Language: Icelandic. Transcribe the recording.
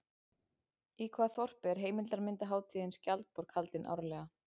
Í hvaða þorpi er heimildarmyndarhátíðin Skjaldborg haldin árlega?